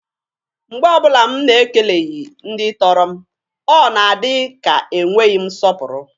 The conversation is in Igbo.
Mgbe ọbụla mụ na-ekeleghi ndị tọrọ m, o na-adi ka e nweghi m nsọpụrụ.